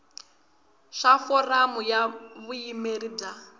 swa foramu ya vuyimeri bya